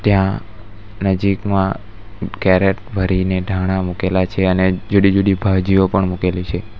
ત્યાં નજીકમાં કેરેટ ભરીને ટાણા મુકેલા છે અને જુડી-જુડી ભાજીઓ પણ મૂકેલી છે.